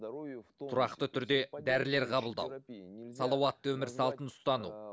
тұрақты түрде дәрілер қабылдау салауатты өмір салтын ұстану